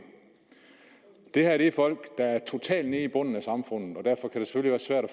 det her er folk der er totalt nede på bunden af samfundet